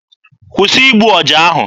Kwụsị igbu ọja ahụ!